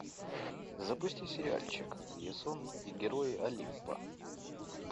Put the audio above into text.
запусти сериальчик ясон и герои олимпа